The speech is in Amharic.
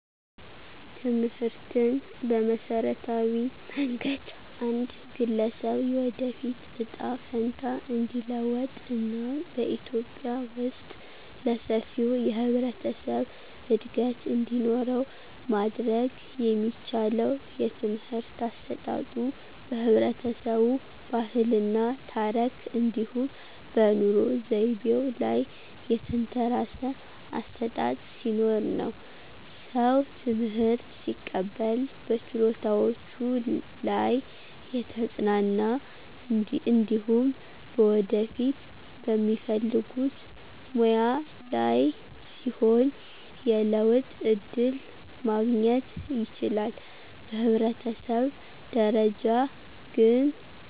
ትምህርትን በመሠረታዊ መንገድ አንድ ግለሰብ የወደፊት እጣ ፈንታ እንዲለወጥ እና በኢትዮጵያ ውስጥ ለሰፊው የህብረተሰብ እድገት እንዲኖረው ማድረግ የሚቻለው የትምህርት አሰጣጡ በህብረተሰቡ ባህል እና ታረክ እንዲሁም በኑሮ ዘይቤው ላይ የተንተራሰ አሠጣጥ ሲኖርነው። ሰው ትምህርት ሲቀበል በችሎታዎቹ ላይ የተጽናና እንዲሁም በወደፊት በሚፈልጉት ሙያ ላይ ሲሆን የለውጥ ዕድል ማግኘት ይችላል። በህብረተሰብ ደረጃ ግን፣